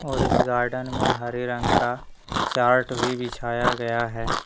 और इस गार्डन में हरे रंग का चार्ट भी बिछाया गया है।